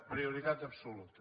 prioritat absoluta